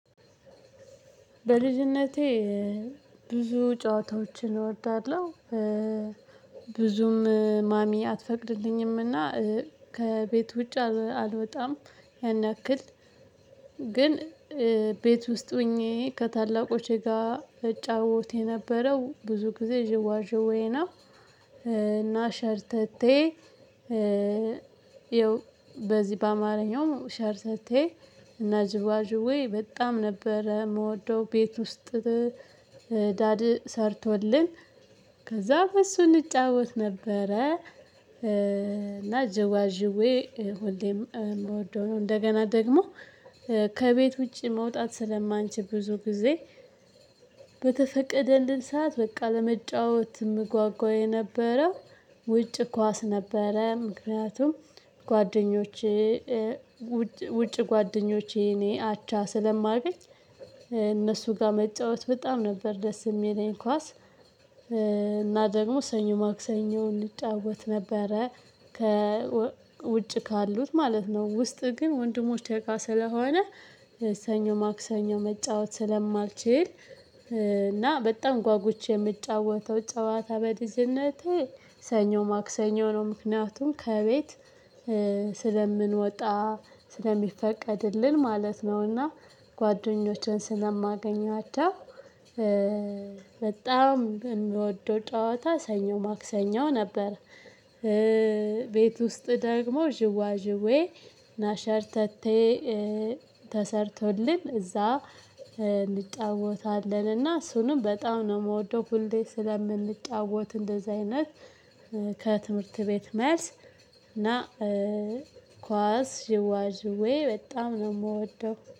በልጅነቴ ብዙ ጨዋታዎችን እወዳለሁ ብዙም ማሚ አትፈቅድልኝምና ከቤት ውጭ አልወጣም ያንክል ግን ቤት ውስጥ ሆኜ ከታላቆቼ ጋር እጫወት የነበረው ብዙ ጊዜ ዥዋዥዌ ነው። እና ሸርተቴ ይኸው በዚህ በአማርኛው ሸርተቴ እና ዥዋዥዌ በጣም ነበረ እምወደው ቤት ውስጥ። ዳድ ሰርቶልኝ ከዛ በእሱ እንጫወት ነበረ። እና ዥዋዥዌ ሁሌም እምወደው ነው እንደገና ደግሞ ከቤት ውጪ መውጣት ስለማንችል ብዙ ጊዜ። በተፈቀደልን ሰዓት በቃ ለመጫወት እምጓጓ የነበረው ውጭ ኳስ ነበረ። ምክንያቱም ጓደኞቼ ጓደኞቼ እኔ አቻ ስለማገኝ እነሱ ጋር መጫወት በጣም ነበር ደስ እሚለኝ ኳስ። እና ደግሞ ሰኞ ማክሰኞ እንጫወት ነበረ ከ ውጭ ካሉት ማለት ነው። ውስጥ ግን ወንድሞች እቃ ስለሆነ ሰኞ ማክሰኞ መጫወት ስለማልችል እና በጣም ጓጉች እምጫወተው ጨዋታ በልጅነቴ። ሰኞ ማክሰኞ ነው ምክንያቱም ከቤት ስለምንወጣ ስለሚፈቀድልን ማለት ነው። እና ጓደኞቼን ስለማገኛቸው በጣም እንደወደው ጨዋታ ሰኞ ማክሰኞ ነበር። ቤት ውስጥ ደግሞ ዥዋዥዌ እና ሸርተቴ። ተሰርቶልን እዛ እንጫወታለን እና እሱንም በጣም ነው እምወደው ሁሌ ስለምንጫወት እንደዚህ አይነት ከትምህርት ቤት መልስ እና ኳስ ዥዋዥዌ በጣም ነው እምወደው